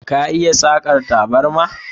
Ka iya Sakan taburma?